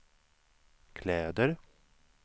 kläder